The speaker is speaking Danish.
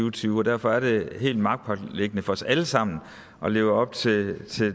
og tyve derfor er det helt magtpåliggende for os alle sammen at leve op til